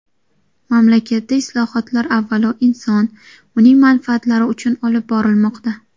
Mamlakatda islohotlar avvalo inson, uning manfaatlari uchun olib borilmoqda.